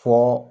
Fɔ